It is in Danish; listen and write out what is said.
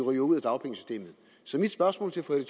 ryge ud af dagpengesystemet så mit spørgsmål til fru